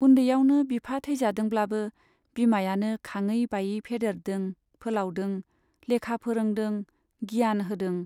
उन्दैयावनो बिफा थैजादोंब्लाबो बिमायानो खाङै बायै फेदेरदों फोलावदों, लेखा फोरोंदों, गियान होदों।